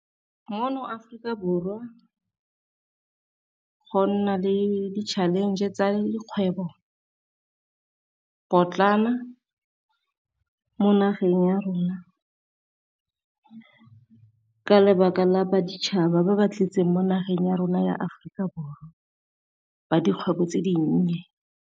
Mono Aforika Borwa go nna le di-challenge tsa le dikgwebo potlana mo nageng ya rona, ka lebaka la baditshaba ba ba tletseng mo nageng ya rona ya Aforika Borwa ba dikgwebo tse dinnye.